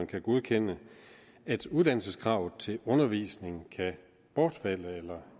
kan godkende at uddannelseskravet til undervisning kan bortfalde eller